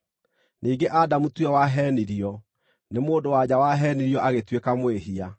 Ningĩ Adamu tiwe waheenirio; nĩ mũndũ-wa-nja waheenirio agĩtuĩka mwĩhia.